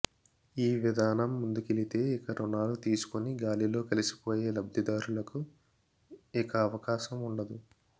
ఈవిధానం ముందుకెళితే ఇక రుణాలు తీసుకుని గాలిలో కలిసిపోయే లబ్ధిదారులకు ఇక అవకాశం ఉండ దు